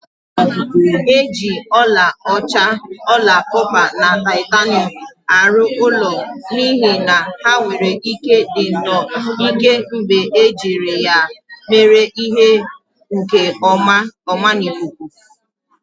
E ji ọlaọcha, ọla kọpa na titanium arụ ụlọ n'ihi na ha nwere ike ịdị nnọọ ike mgbe e jiri ya mee ihe nke ọmana ikuku